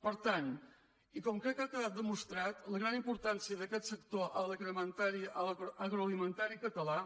per tant i com crec que ha quedat demostrat la gran importància d’aquest sector agroalimentari català